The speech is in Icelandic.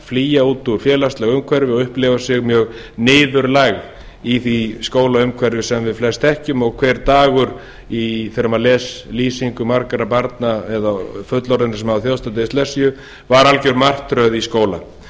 flýja út úr félagslegu umhverfi og upplifa sig mjög niðurlægð í því skólaumhverfi sem við flest þekkjum og þegar maður les lýsingu margra barna eða fullorðinna sem þjáðst hafa af dyslexía var hver dagur í skóla alger martröð við verðum